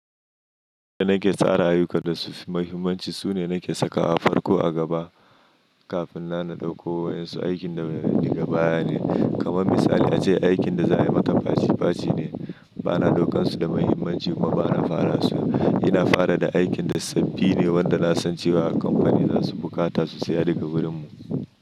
Da na ke tsara ayuka da su mahimmanci su ne na ke sakawa a farko a gaba kafin na na dauko wa yansu aikin da daga baya ne. Kaman misali a ce aikin da za a yi maka faci faci ne, ba na ɗaukan su da mahimmanci kuma ba na fara su. Ina fara da aikin da sabbi ne wanda na san cewa a kamfani za su bukata susiya daga wurin mu.